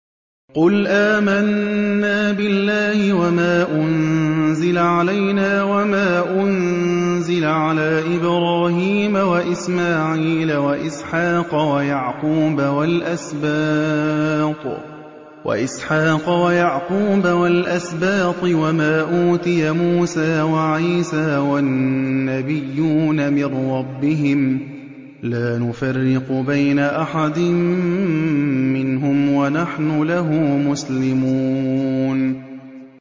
قُلْ آمَنَّا بِاللَّهِ وَمَا أُنزِلَ عَلَيْنَا وَمَا أُنزِلَ عَلَىٰ إِبْرَاهِيمَ وَإِسْمَاعِيلَ وَإِسْحَاقَ وَيَعْقُوبَ وَالْأَسْبَاطِ وَمَا أُوتِيَ مُوسَىٰ وَعِيسَىٰ وَالنَّبِيُّونَ مِن رَّبِّهِمْ لَا نُفَرِّقُ بَيْنَ أَحَدٍ مِّنْهُمْ وَنَحْنُ لَهُ مُسْلِمُونَ